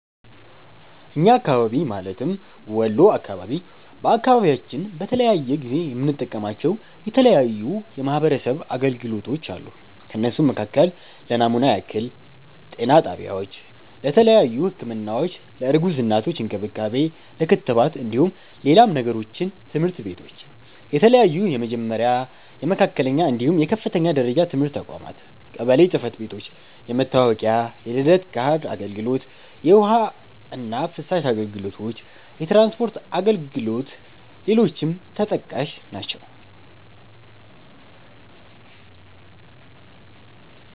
እኛ አካባቢ ማለትም ወሎ አካባቢ፤ በአካባቢያችን በተለያየ ጊዜ የምንጠቀማቸው የተለያዩ የማሕበረሰብ አገልግሎቶች አሉ። ከእነሱም መካከል ለናሙና ያክል - ጤና ጣቢያዎች:- ለተያዩ ህክምናዎች፣ ለእርጉዝ እናቶች እንክብካቤ፣ ለክትባት እንደሁም ሌላም ነገሮችን - ትምህርት ቤቶች :- የተለያዩ የመጀመሪያ፣ የመካከለኛ፣ እንድሁም የከፍተኛ ደረጃ ትምህርት ተቋማት - ቀበሎ ጽህፈት ቤቶች- የመታወቂያ፣ የልደት ካርድ አገልግሎት - የውሀ እና ፍሳሽ አገልግሎቶች - የትራንስፖርት አገልግሎ ሌሎችም ተጠቃሽ ናቸው።